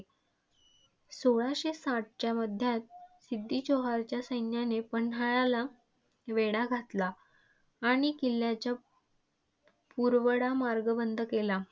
सोळाशे साठच्या मध्यात सिद्दी जोहरच्या सैन्याने पन्हाळ्याला वेढा घातला. आणि किल्ल्याचा पुरवठा मार्ग बंद केला.